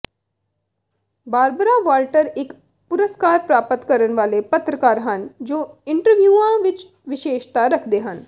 Barbara Walter ਇੱਕ ਪੁਰਸਕਾਰ ਪ੍ਰਾਪਤ ਕਰਨ ਵਾਲੇ ਪੱਤਰਕਾਰ ਹਨ ਜੋ ਇੰਟਰਵਿਊਆਂ ਵਿੱਚ ਵਿਸ਼ੇਸ਼ਤਾ ਰੱਖਦੇ ਹਨ